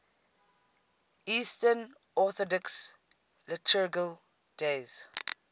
eastern orthodox liturgical days